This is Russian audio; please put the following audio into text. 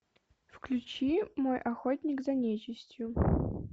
включи мой охотник за нечестью